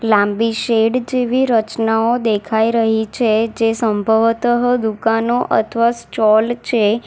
લાંબી શેડ જેવી રચનાઓ દેખાઈ રહી છે જે સંભવત દુકાનો અથવા ચોલ છે.